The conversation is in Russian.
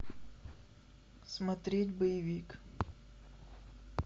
смотреть боевик